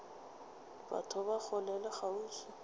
batho ba kgole le kgauswi